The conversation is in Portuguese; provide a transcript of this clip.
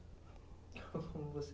Como